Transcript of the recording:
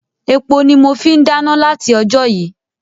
Epo ni mọ fi ń dáná láti ojó yìí.